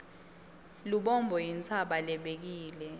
lubombo intsaba lebekile